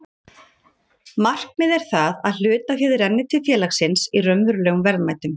Markmið er það að hlutaféð renni til félagsins í raunverulegum verðmætum.